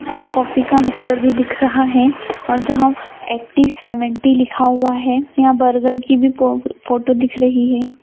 और कॉफी का मिक्सर भी दिख रहा है और जहाँ ऐटी सेवेनटी लिखा हुआ है यहाँ बर्गर की भी पो फोटो दिख रही है।